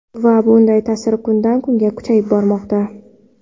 Va bunday ta’sir kundan kunga kuchayib bormoqda.